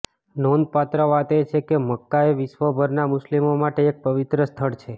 નોંધપાત્ર વાત એ છે કે મક્કા એ વિશ્વભરના મુસ્લિમો માટે એક પવિત્ર સ્થળ છે